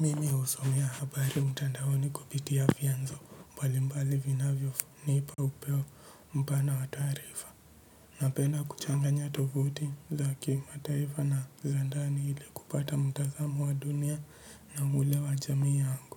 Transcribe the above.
Mimi husomea habari mtandaoni kupitia vianzo, mbalimbali vinavyo nipa upeo, mpana wa taarifa. Napenda kuchanganya tovuti za kimataifa na za ndani ili kupata mtazamo wa dunia. Na ule wa jamii yangu.